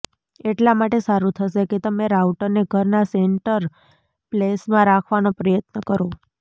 એટલા માટે સારું થશે કે તમે રાઉટરને ઘરના સેન્ટર પ્લેસમાં રાખવાનો પ્રયત્ન કરો